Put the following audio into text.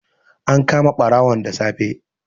An kama ɓarawon da safe.